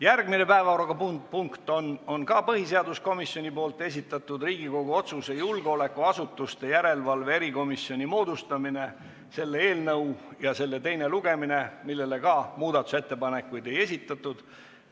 Järgmine päevakorrapunkt on ka põhiseaduskomisjoni esitatud Riigikogu otsuse "Julgeolekuasutuste järelevalve erikomisjoni moodustamine" eelnõu teine lugemine, mille kohta samuti muudatusettepanekuid ei esitatud.